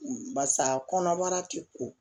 Barisa kɔnɔbara ti ko